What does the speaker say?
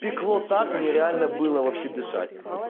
пекло так нереально было вообще дышать